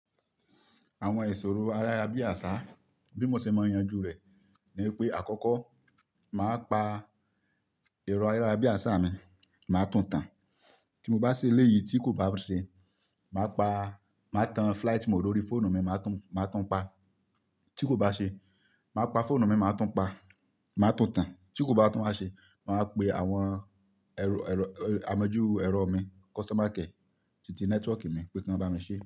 Àwọn ìṣòro ayárábiàsà, bí mo ṣe máa yanjú rẹ̀ ní pé àkọ́kọ́ màá pa ẹ̀rọ ayárábiàsà mi, màá tún tán. Tí mo bá ṣe léyìí tí kò bá ṣe, màá pa, màá tan flight mode lórí fóònù mi, màá tún, màá tún pa. Tí kò bá ṣe, màá pa fóònù mi, màá tún pa, màá tún tán. Tí kò bá tún a ṣe, màá pe àwọn ẹrú, ẹrú, ẹ-- amojú ẹ̀rọ mi, kọ́sítómà kẹ, tìti nẹ́tíwọ́kì mi pé kí wọ́n bá mi ṣe.